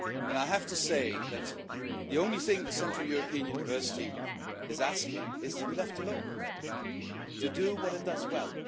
I have to say that the only thing the Central European University is asking is to be left alone to do what it does well.